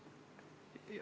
Rääkige.